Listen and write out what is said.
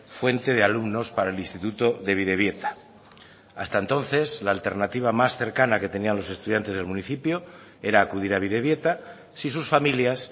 fuente de alumnos para el instituto de bidebieta hasta entonces la alternativa más cercana que tenían los estudiantes del municipio era acudir a bidebieta si sus familias